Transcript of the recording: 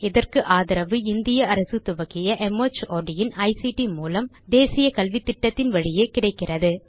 இதற்கு ஆதரவு இந்திய அரசு துவக்கிய மார்ட் இன் ஐசிடி மூலம் தேசிய கல்வித்திட்டத்தின் வழியே கிடைக்கிறது